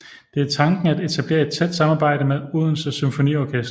Det er tanken at etablere et tæt samarbejde med Odense Symfoniorkester